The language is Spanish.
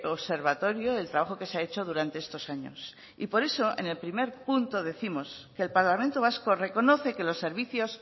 observatorio el trabajo que se ha hecho durante estos años y por eso en el primer punto decirnos que el parlamento vasco reconoce que los servicios